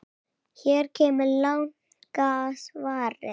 Hér kemur langa svarið